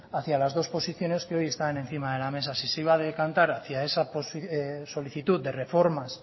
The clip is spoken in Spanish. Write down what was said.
hacia las dos posiciones que hoy están encima de la mesa si se iba a decantar hacia esa solicitud de reformas